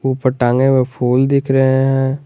पर टांगे हुए फूल दिख रहे हैं।